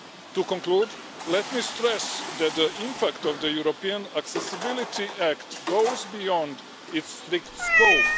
To conclude, let me stress that the impact of the European Accessibility Act goes beyond its scope.